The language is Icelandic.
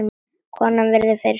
Konan virðir mig fyrir sér.